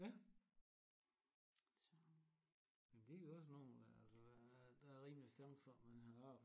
Ja men det er jo også nogen altså der er rimelig chance for man har arbejde